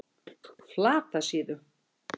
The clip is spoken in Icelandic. Flatasíðu